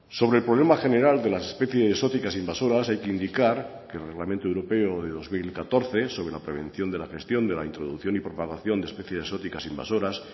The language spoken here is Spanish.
sobre el problema general de las especies exóticas invasoras hay que indicar que el reglamento europeo de dos mil catorce sobre la prevención de la gestión de la introducción y propagación de especies exóticas invasoras